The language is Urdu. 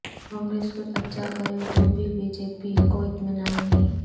کانگریس کچھ اچھا کرے تو بھی بی جے پی کواطمینان نہیں